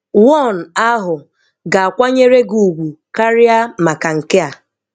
One ahụ ga-akwanyere gị ugwu karịa maka nke a.